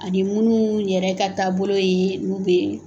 Ani minnu yɛrɛ ka taabolo ye n'u bɛ